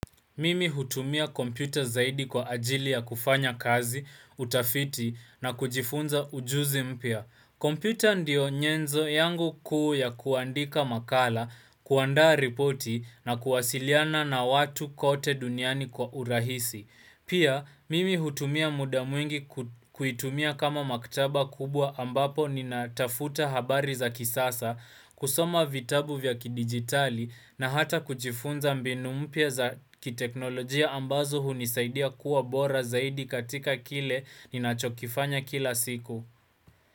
Mimi hutumia kompyuta zaidi kwa ajili ya kufanya kazi, utafiti na kujifunza ujuzi mpya. Kompyuta ndiyo nyenzo yangu kuu ya kuandika makala, kuandaa ripoti na kuwasiliana na watu kote duniani kwa urahisi. Pia, mimi hutumia muda mwingi ku kuitumia kama maktaba kubwa ambapo ninatafuta habari za kisasa, kusoma vitabu vya kidigitali na hata kujifunza mbinu mpya za kiteknolojia ambazo hunisaidia kuwa bora zaidi katika kile ninachokifanya kila siku.